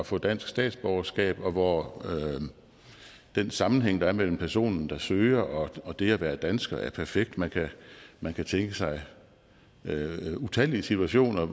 få dansk statsborgerskab og hvor den sammenhæng der er mellem personen der søger og og det at være dansker er perfekt man kan man kan tænke sig utallige situationer